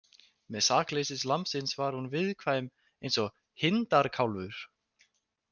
Með sakleysi lambsins var hún viðkvæm eins og hindarkálfur.